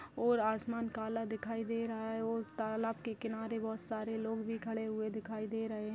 और आसमान काला दिखाई दे रहा है और तालाब के किनारे बहुत सारे लोग भी खड़े हुए दिखाई दे रहे है।